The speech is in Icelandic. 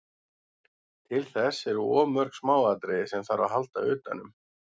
Til þess eru of mörg smáatriði sem þarf að halda utanum.